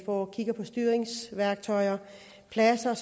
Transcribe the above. på styringsværktøj pladser